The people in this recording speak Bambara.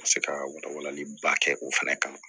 Ka se ka wala walali ba kɛ o fɛnɛ kama